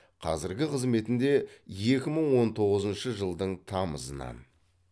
қазіргі қызметінде екі мың он тоғызыншы жылдың тамызынан